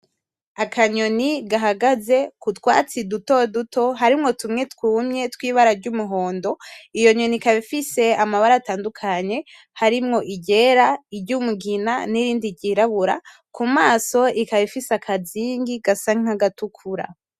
Akanyoni gahagaze ku twatsi duto duto harimwo tumwe twumye twibara ryumuhondo iyo nyoni ikaba ifise amabara atandukanye harimwo iryera, iryumugina nirindi ryirabura ku maso ikaba ifise akazingi kasa nkagatukura.